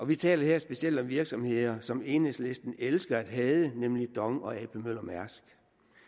vi taler her specielt om virksomheder som enhedslisten elsker at hade nemlig dong og ap møller mærsk